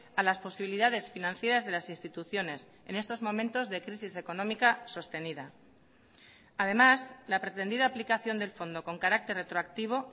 a las posibilidades financieras de las instituciones en estos momentos de crisis económica sostenida además la pretendida aplicación del fondo con carácter retroactivo